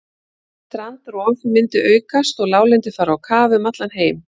Strandrof myndi aukast og láglendi fara á kaf um allan heim.